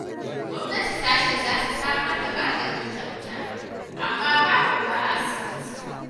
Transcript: Gwamnati ta ce za ta samar da magani kyauta, amma babu a asibitin